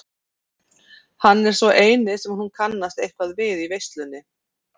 Hann er sá eini sem hún kannast eitthvað við í veislunni.